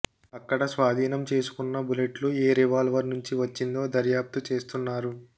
అక్కడ స్వాధీనం చేసుకున్న బుల్లెట్లు ఏ రివాల్వర్ నుంచి వచ్చిందో దర్యాప్తు చేస్తున్నారు